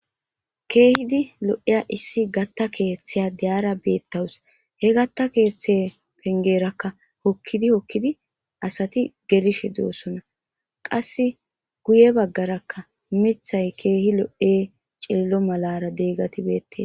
Keehidi lo7iya issi gatta keethi diyara beettaws. He gatta keethe penggeerakka hokkidi hokkidi asati gelishe de7oosona.qassi guye baggarakka mithay keehi lo7e cililo malaara deegati beette.